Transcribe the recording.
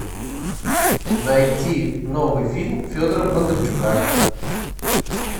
найти новый фильм федора бондарчука